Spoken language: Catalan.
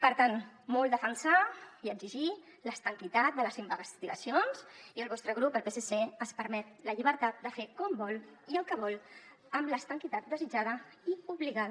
per tant molt defensar i exigir l’estanquitat de les investigacions i el vostre grup el psc es permet la llibertat de fer com vol i el que vol amb l’estanquitat desitjada i obligada